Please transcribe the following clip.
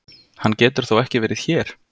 Hann getur þó ekki verið hér!